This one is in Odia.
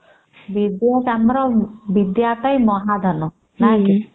ବିଦ୍ୟା ଆମର ବିଦ୍ୟା ଅଟଇ ମହା ଧନ ନା କି